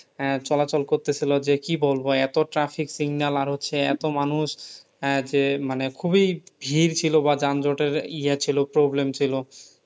আহ চলাচল করতেছিল যে কি বলবো? এত traffic signal আর হচ্ছে এত মানুষ। আহ যে মানে খুবই ভীড় ছিল বা যানযটের ইয়ে ছিল problem ছিল